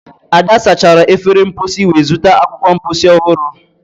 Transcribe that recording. ada sachara efere mposi wee zụta akwụkwọ mposi ọhụrụ